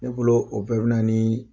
Ne bolo o bɛɛ bɛ na